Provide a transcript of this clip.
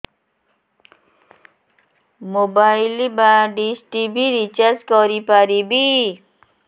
mobile ବା dish TV recharge କରି ପାରିବି